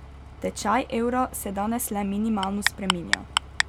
Tečaj evra se danes le minimalno spreminja.